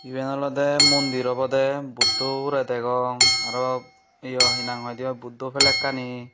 yan oloday mondir obodey budoboray degong arow yo hinanghoiday buddha flack kani.